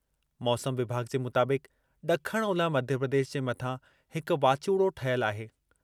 मौसम विभाॻु जे मुताबिक़ ॾखण-ओलह मध्यप्रदेश जे मथां हिक वाचूड़ो ठहियलु आहे।